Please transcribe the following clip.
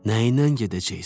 Nəyindən gedəcəksən?